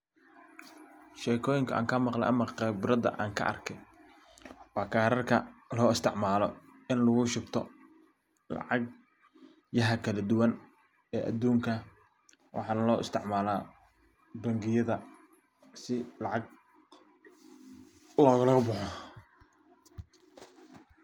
Shekoyinka an kamaqli ama qibrada an kaarkay wa karkarka lo isticmaalo in lugu shubto lacag jiha kala duwan e adunka waxaana lo isticmaala bangiyadda si lacag loguluboxo.